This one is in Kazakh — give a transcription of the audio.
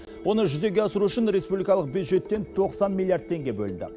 оны жүзеге асыру үшін республикалық бюджеттен тоқсан миллиард теңге бөлінді